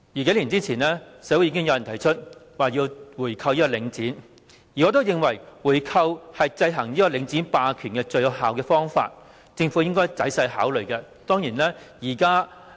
數年前，社會已經有人提出購回領展，而我認為回購是制衡領展霸權最有效的方法，政府應該仔細考慮。